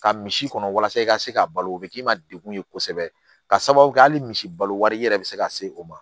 Ka misi kɔnɔ walasa i ka se ka balo o bɛ k'i ma degun ye kosɛbɛ ka sababu kɛ hali misi balo wari i yɛrɛ bɛ se ka se o ma